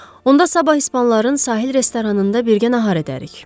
Onda sabah ispanların sahil restoranında birgə nahar edərik.